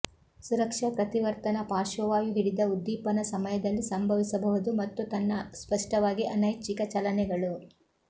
ಸುರಕ್ಷಾ ಪ್ರತಿವರ್ತನ ಪಾರ್ಶ್ವವಾಯು ಹಿಡಿದ ಉದ್ದೀಪನ ಸಮಯದಲ್ಲಿ ಸಂಭವಿಸಬಹುದು ಮತ್ತು ತನ್ನ ಸ್ಪಷ್ಟವಾಗಿ ಅನೈಚ್ಛಿಕ ಚಲನೆಗಳು